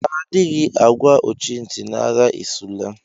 Adịghị àgwà ọchị ntị na-agha esula!!